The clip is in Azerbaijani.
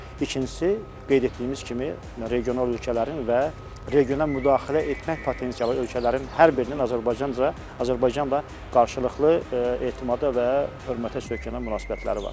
İkincisi, qeyd etdiyimiz kimi, regional ölkələrin və regional müdaxilə etmək potensialı ölkələrin hər birinin Azərbaycanca, Azərbaycanla qarşılıqlı etimada və hörmətə söykənən münasibətləri var.